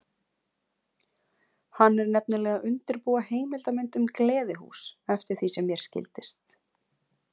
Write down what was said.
Hann er nefnilega að undirbúa heimildarmynd um gleðihús, eftir því sem mér skildist.